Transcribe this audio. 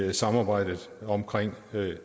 i samarbejdet omkring